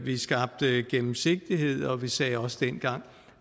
skabte gennemsigtighed og vi sagde også dengang